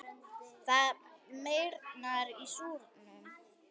Það meyrnar í súrnum.